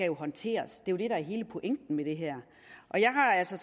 jo håndteres det er det der er hele pointen med det her og jeg har altså